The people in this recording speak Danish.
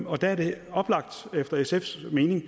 og der er det efter sfs mening